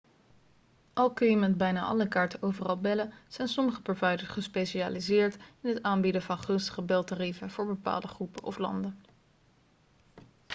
al kun je met bijna alle kaarten overal bellen zijn sommige providers gespecialiseerd in het aanbieden van gunstige beltarieven voor bepaalde groepen of landen